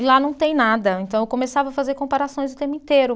E lá não tem nada, então eu começava a fazer comparações o tempo inteiro.